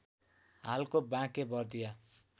हालको बाँके बर्दिया